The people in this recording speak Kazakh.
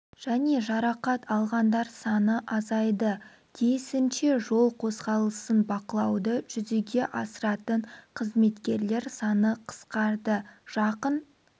және жарақат алғандар саны азайды тиісінше жол қозғалысын бақылауды жүзеге асыратын қызметкерлер саны қысқарды жақын